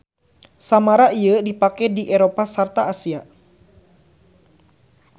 Samara ieu dipake di Eropa sarta Asia